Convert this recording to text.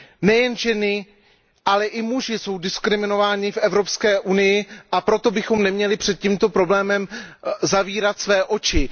Nejen ženy, ale i muži jsou diskriminováni v Evropské unii, a proto bychom neměli před tímto problémem zavírat oči.